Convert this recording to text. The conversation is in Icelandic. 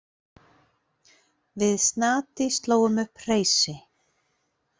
Við Snati slógum upp hreysi.